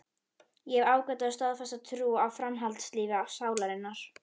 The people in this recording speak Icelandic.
Ég hef ágæta og staðfasta trú á framhaldslífi sálarinnar.